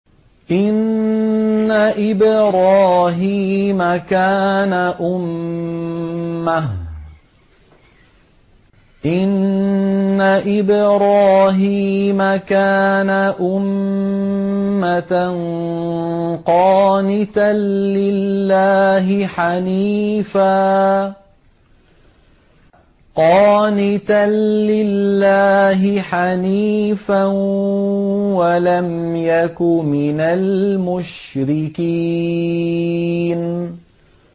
إِنَّ إِبْرَاهِيمَ كَانَ أُمَّةً قَانِتًا لِّلَّهِ حَنِيفًا وَلَمْ يَكُ مِنَ الْمُشْرِكِينَ